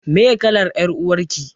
Meye kalar ƴar uwar ki?